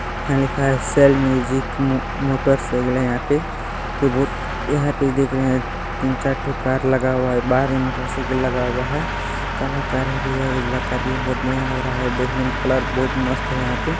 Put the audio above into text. यहाँ लिखा है सेल म्यूजिक मोटर्स लिखले है यहाँ पे | जो बहुत यहाँ पर देख रहे हैं तीन चार थो कार लगा हुआ है बाहर मोटरसाइकिल लगा हुआ है और काला कार भी है उजला कार भी है | यह बहुत बढ़िया लग रहा है देखने में कलर बहुत मस्त है यहाँ पे ।